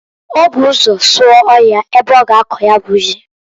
O bu ụzọ sụọ ọhịa ebe ọ ga akọ ya bụ ji.